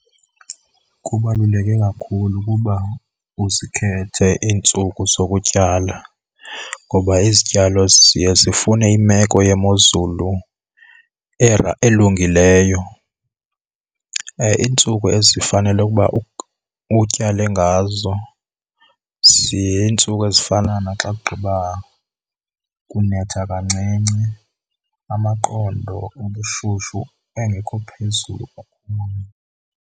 Kubaluleke kakhulu ukuba uzikhethe iintsuku zokutyala ngoba izityalo ziye zifune imeko yemozulu elungileyo. Iintsuku ezifanele ukuba utyale ngazo ziintsuku ezifana naxa kugqiba kunetha kancinci, amaqondo obushushu engekho phezulu kakhulu.